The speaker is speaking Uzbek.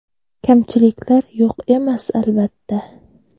Kamchiliklar yo‘q emas, albatta.